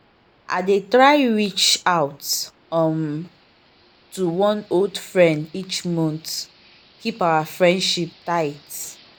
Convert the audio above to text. i dey try reach out um to one old friend each month keep our friendship tight.